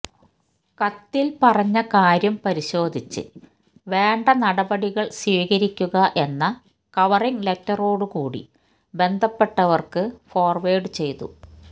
കത്തില് പറഞ്ഞ കാര്യം പരിശോധിച്ച് വേണ്ട നടപടികള് സ്വീകരിക്കുക എന്ന കവറിംഗ് ലറ്ററോട് കൂടി ബന്ധപ്പെട്ടവര്ക്ക് ഫോര്വേഡ് ചെയ്തു